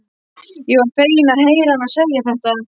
Ég var feginn að heyra hana segja þetta.